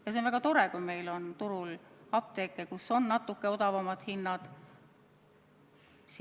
See on väga tore, kui turul on apteeke, kus on natuke odavamad hinnad.